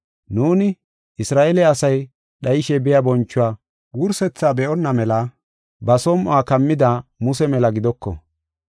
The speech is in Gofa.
Nuuni, Isra7eele asay dhayishe biya bonchuwa wursethaa be7onna mela ba som7uwa kammida Muse mela gidoko.